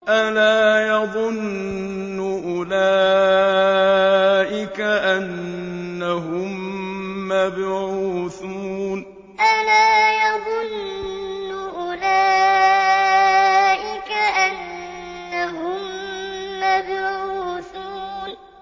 أَلَا يَظُنُّ أُولَٰئِكَ أَنَّهُم مَّبْعُوثُونَ أَلَا يَظُنُّ أُولَٰئِكَ أَنَّهُم مَّبْعُوثُونَ